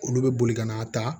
Olu bɛ boli ka n'a ta